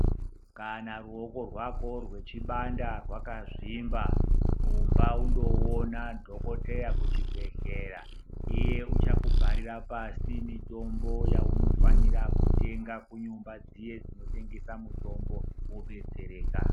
Kana ruoko rwako rwechibanda rwakazvimba rumba undoona dhogodheya kuchibhedhlera, iye uchakubharira pasi mitombo yaunofanira kutenga kunyumba dziye dzinotengese mitombo wodetsereka.